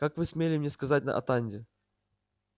как вы смели мне сказать на атанде